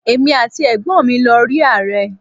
Èmi àti ẹ̀gbọ́n mi lọ rí Ààrẹ.